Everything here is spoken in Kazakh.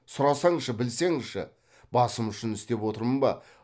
сұрасаңшы білсеңші басым үшін істеп отырмын ба